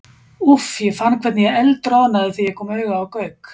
Úff, ég fann hvernig ég eldroðnaði þegar ég kom auga á Gauk.